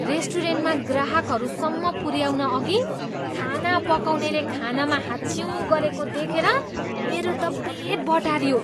रेस्टुरेन्टमा ग्राहकहरूसम्म पुऱ्याउनअघि खाना पकाउनेले खानामा हाच्छिउँ गरेको देखेर मेरो त पेट बटारियो।